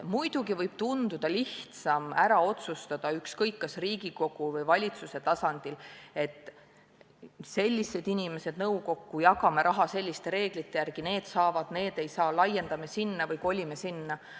Muidugi võib tunduda lihtsam otsustada ükskõik kas Riigikogu või valitsuse tasandil ära, et nimetame nõukokku sellised inimesed, jagame raha selliste reeglite järgi – need saavad, need ei saa –, laiendame sinna või kolime sinna.